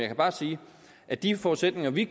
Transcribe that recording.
kan bare sige at de forudsætninger vi